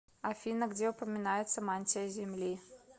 афина где упоминается мантия земли